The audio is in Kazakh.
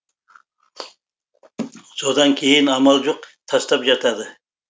содан кейін амал жоқ тастап жатады